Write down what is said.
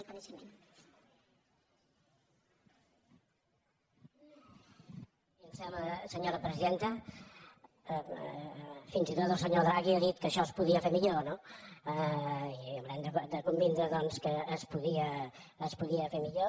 i em sembla que fins i tot el senyor draghi ha dit que això es podia fer millor no i haurem de convenir doncs que es podia fer millor